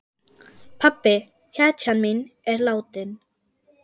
Pabbi, hetjan mín, er látinn.